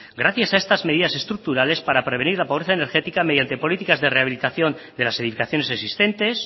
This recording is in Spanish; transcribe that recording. gracias a estas medidas estructurales para prevenir la pobreza energética mediante políticas de rehabilitación de las edificaciones existentes